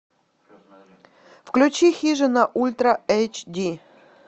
включи хижина ультра эйч ди